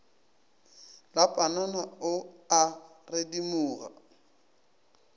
la panana o a redimoga